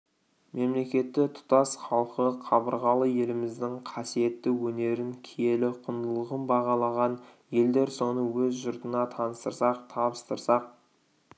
мемлекеті тұтас халқы қабырғалы еліміздің қасиетті өнерін киелі құндылығын бағалаған елдер соны өз жұртына таныстырсақ табыстырсақ